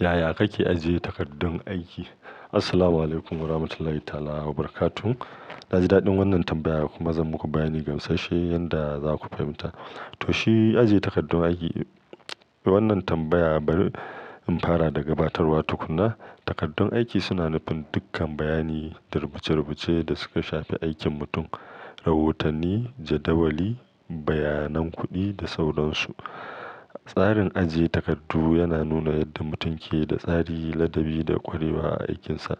Yaya kake ajiye takardun aiki? Assalamualaikum warahmatullahi ta'ala wabarakatuh. Naji daɗin wannan tambayar kuma zan muku bayani gamsasshe yadda zaku fahimta. To shi, ajiye takardun aiki. Wannan tambaya bari in fara da gabatarwa tukunna. Takardun aiki suna nufin dukkan bayani da rubuce-rubuce da suka shafi aikin mutum, rahotanni, jadawali, bayanan kuɗi da sauransu. Tsarin ajiye takardu yana nuna yadda mutum keda tsari, ladabi da ƙwarewa a aikinsa.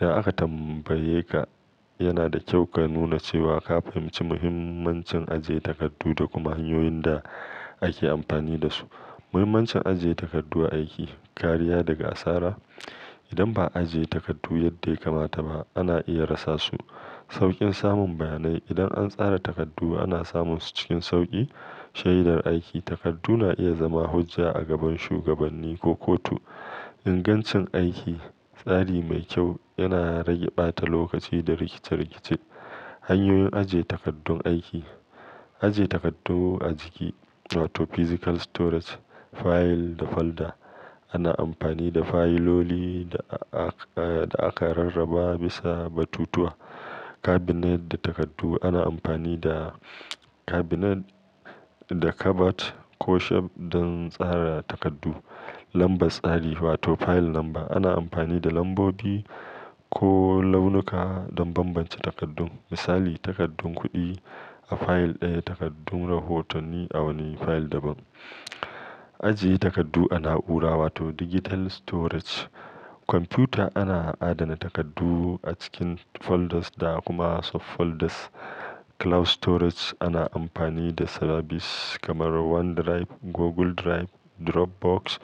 Idan aka tambayeka, yana da ƙyau ka nuna cewa ka fahimci muhimmancin ajiye takardu da kuma hanyoyin da ake amfani da su. Muhimmancin ajiye takardu a aiki, kariya daga asara. Idan ba'a ajiye takardu yadda ya kamata ba, ana iya rasa su. Sauƙin samun bayanai. Idan an tsara takardu, ana samun su cikin sauƙi. Shaidar aiki. Takardu na iya zama hujja a gaban shugabanni ko kotu. Ingancin aiki. Tsari mai kyau yana rage ɓata lokaci da rikice-rikice. Hanyoyin ajiye takardun aiki. Ajiye takardu a jiki wato physical storage, file da folder. Ana amfani da fayiloli da aka rarraba bisa batutuwa. Cabinet da takardu. Ana amfani da cabinet, da cupboard ko shelf don tsara takardu. Lambar tsari wato file number. Ana amfani da lambobi ko launuka don bambance takardun. Misali, takardun kuɗi a fayil ɗaya, takardun rahotanni a wani fayil daban. Ajiye takardu a na'ura, wato digital storage. Kwamfuta ana adana takardu a cikin folders da kuma subfolders. Cloud storage. Ana amfani da sabis kamar OneDrive, Google Drive, Dropbox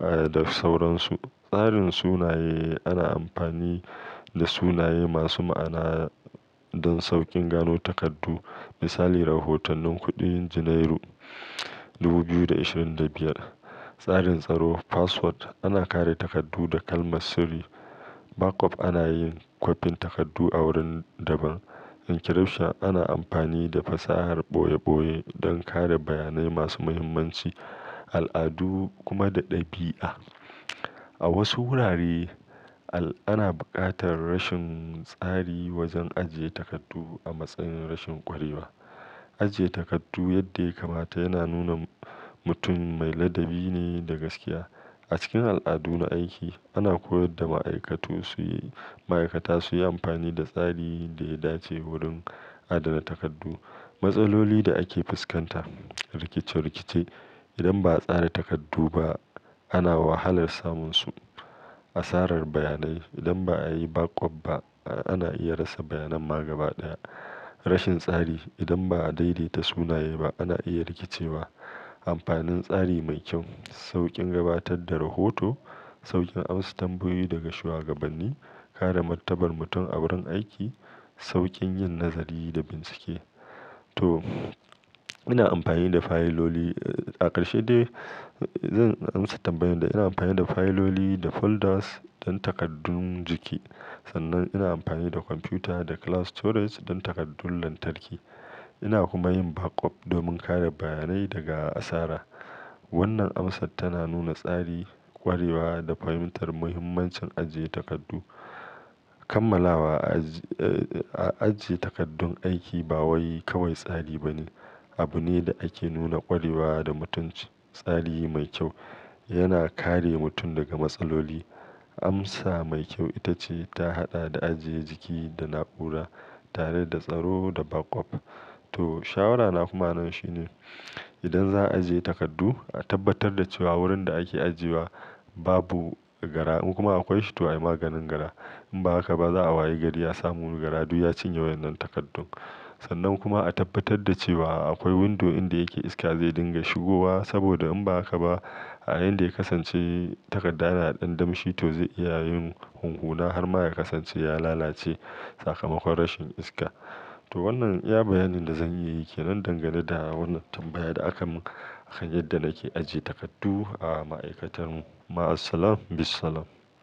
da sauransu. Tsarin sunaye. Ana amfani da sunaye masu ma'ana don sauƙin gano takardu. Misali, rahotonin kudin junairu, dubu biyu da ashirin da biyar. Tsarin tsaro password. Ana kare takardu da kalmar sirri. Backup. Anayin kopin takardu a wurin daban. Encryption. Ana amfani da fasahar ɓoye-ɓoye don kare bayanai masu muhimmanci. Al'adu kuma da ɗabi'a. A wasu wurare, ana buƙatar rashin tsari wajen ajiye takardu a matsayin rashin ƙwarewa. Ajiye takardu yadda ya kamata yana nuna mutum mai ladabi ne da gaskiya. A cikin al'adu na aiki, ana koyar da ma'aikatu suyi-- ma'aikata suyi amfani da tsari da ya dace wurin adana takardu. Matsaloli da ake fuskanta. Rikice-rikice. Idan ba a tsara takardu ba, ana wahalar samun su. Asarar bayanai. Idan ba'a yi backup ba, ana iya rasa bayanan ma gabaɗaya. Rashin tsari. Idan ba a daidaita sunaye ba, ana iya rikicewa. Amfanin tsari mai kyau. Sauƙin gabatar da rohoto, sauƙin amsa tambayoyi daga shuwagabanni, kare martabar mutum a wurin aiki, sauƙin yin nazari da bincike. To, ina amfani da fayiloli, a ƙarshe dai, zan amsa tambayanda, ina amfani da fayiloli da folders don takardun jiki. Sannan ina amfani da kwamfuta da cloud storage don takardun lantarki. Ina kuma yin backup domin kare bayanai daga asara. Wannan amsa tana nuna tsari, ƙwarewa da fahimtar muhimmancin ajiye takardu. Kammalawa. Ajiye takardun aiki bawai kawai tsari bane, abune da ake nuna ƙwarewa da mutunci. Tsari mai kyau yana kare mutum daga matsaloli. Amsa mai ƙyau itace ta haɗa da ajiye jiki da na'ura tare da tsaro da backup. To, shawara na kuma nan shine idan za'a ajiye takardu, a tabbatar da cewa wurin da ake ajiyewa babu gara in kuma akwai shi to ayi maganin gara. In ba haka ba, za'a waye gari asamu gara duk ya cinye wannan takardun. Sannan kuma a tabbatar da cewa aƙwai windo inda yake iska zai dinga shigowa saboda in ba haka ba, yayinda ya kasance takarda na ɗan damshi to zai iya yin hunhuna harma ya kasance ya lalace. Sakamakon rashin iska. To wannan iya bayanin da zan iyayi kenan dangane da wannan tambayar da aka mun akan yadda nake ajiye takardu a ma'aikatar mu. Ma'asalam bissalam.